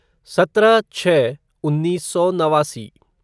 सत्रह छः उन्नीस सौ नवासी